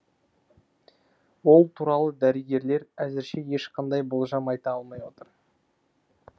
ол туралы дәрігерлер әзірше ешқандай болжам айта алмай отыр